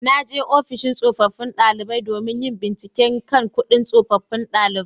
Na je ofishin tsofaffin daliban domin yin bincike kan kudin tsofaffin daliban